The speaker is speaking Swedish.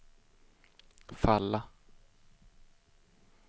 falla